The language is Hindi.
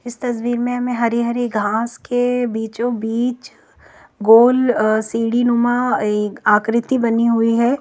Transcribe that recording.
इस तस्वीर मे हमे हरी हरी घास के बीचों बीच गोल अ सिडीनुमा एक आकृति बनी हुई है।